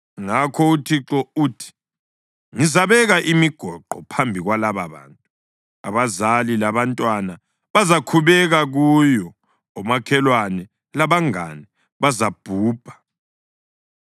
Ngakho uThixo uthi: “Ngizabeka imigoqo phambi kwalababantu. Abazali labantwana bazakhubeka kuyo, omakhelwane labangane bazabhubha.”